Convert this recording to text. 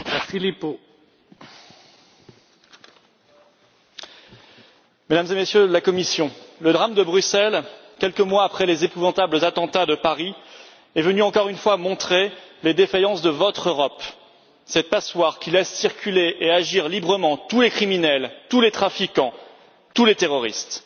Monsieur le Président, Mesdames et Messieurs de la Commission, le drame de Bruxelles, quelques mois après les épouvantables attentats de Paris, est venu encore une fois montrer les défaillances de votre Europe, cette passoire qui laisse circuler et agir librement tous les criminels, tous les trafiquants, tous les terroristes.